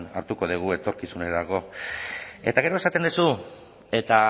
hartuko dugu etorkizunerako eta gero esaten duzu eta